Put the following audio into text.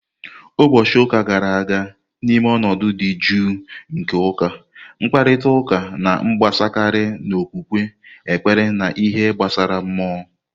Ụbọchị ụka gara aga, N'ime ọnọdụ dị jụụ nke ụka, mkparịta ụka na-agbasakarị n'okwukwe, ekpere, na ihe gbasara mmụọ.